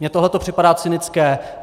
Mně tohle to připadá cynické.